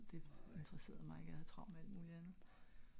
det interesseret mig ikke jeg havde travlt med alt muligt andet